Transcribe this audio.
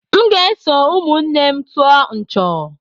M ga-eso ụmụnne m tụọ nchọ̀.